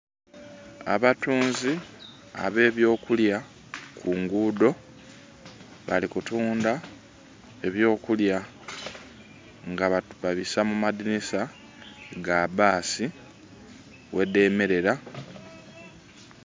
Abatunzi abe byo kulya kunguudo, bali kutundha ebyokulya nga babibisa mu madhinisa gabasi ghedhemerera.